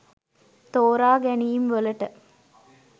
තෝරා ගැනීම් වලට.